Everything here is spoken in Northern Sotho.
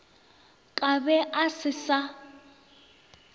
ka be a se sa